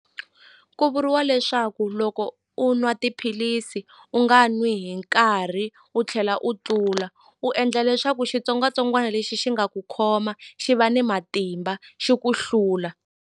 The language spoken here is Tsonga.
Ku vuriwa leswaku loko u nwa tiphilisi u nga n'wi hi nkarhi u tlhela u tlula u endla leswaku xitsongwatsongwana lexi xi nga ku khoma xi va ni matimba xi ku hlula.